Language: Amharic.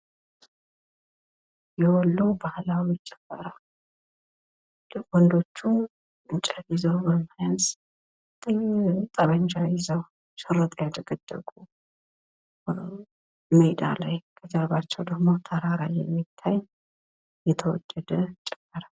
የወሎ ባህላዊ ጭፈራ ወንዶቹ እንጨት ይዘው ጠበንጃ ይዘው ሽርጥ ያደገደጉ ሜዳ ላይ ከጀርባቸው ደሞ ተራራ የሚታይ የተወደደ ጭፈራ።